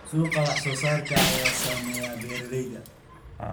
Suuqa wax-soo-saarka ayaa saameeya beeralayda.